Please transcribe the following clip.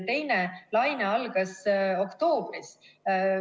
Teine laine algas oktoobris.